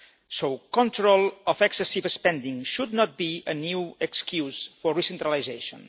So control of excessive spending should not be a new excuse for recentralisation.